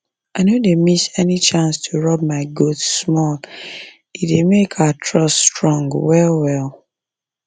i no dey miss any chance to rub my goats small e dey make our trust strong well well